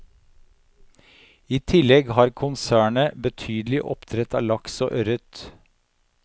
I tillegg har konsernet betydelig oppdrett av laks og ørret.